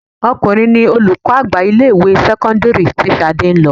Ọkùnrin ní olùkọ́ àgbà ilé ìwé sẹ́kọ́ńdírì tí Ṣadé ń lọ.